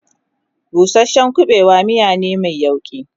busashen ƙuɓewa miya ne Mai yauƙi